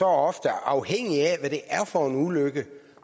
ofte afhængigt af hvad det er for en ulykke